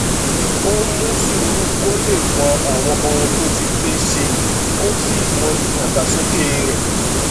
ó mú sùúrù kó lè mọ àwọn ohun tó ti gbé ṣe kó sì mọyì ìdàgbàsókè rè